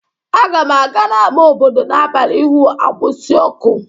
Aga m aga n'ámá obodo n'abalị ịhụ agbusi ọkụ